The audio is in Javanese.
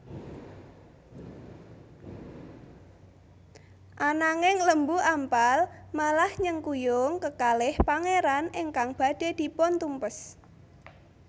Ananging Lembu Ampal malah nyengkuyung kekalih pangeran ingkang badhe dipuntumpes